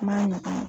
N'a magaya